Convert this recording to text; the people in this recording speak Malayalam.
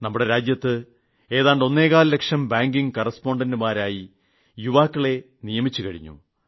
നമ്മുടെ രാജ്യത്ത് ഏതാണ്ട് ഒന്നേകാൽ ലക്ഷം ബാങ്കിംഗ് കറസ്പോണ്ടന്റുമാരായി യുവാക്കളെ നിയോഗിച്ചു കഴിഞ്ഞു